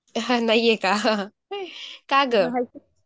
हां नाहीये का, का गं?